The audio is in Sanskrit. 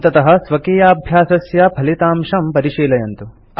अन्ततः स्वकीयाभ्यासस्य फलितांशं परिशीलयन्तु